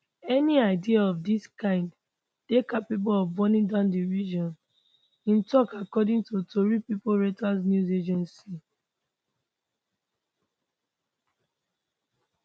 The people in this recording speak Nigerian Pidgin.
any ideas of dis kind dey capable of burning down di region im tok according to tori pipo reuters news agency